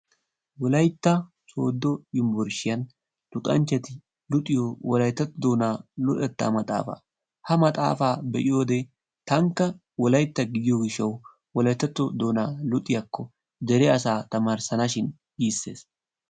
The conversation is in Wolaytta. Wolaytta sooddo yunbburshiyan luxanchchati luxiyo wolayttatto doonaa luxettaa maxxaafa. Ha maxxaafa be"iyode tankka wolaytta gidiyo gishshawu wolayttatto doonaa luxiyakko dere asaa tamaarissana shin giisses.